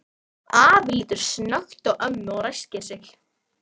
Afi lítur snöggt á ömmu og ræskir sig.